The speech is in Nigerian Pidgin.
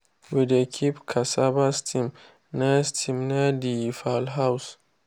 we dey keep cassava stem near stem near the fowl house.